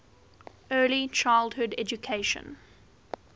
early childhood education